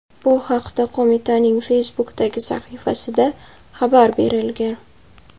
Bu haqda qo‘mitaning Facebook’dagi sahifasida xabar berilgan .